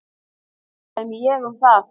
Ekki dæmi ég um það.